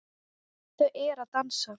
Þau eru að dansa